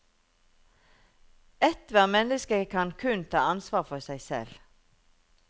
Ethvert menneske kan kun ta ansvar for seg selv.